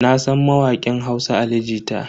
Nasan mawakin Hausa Ali Jita.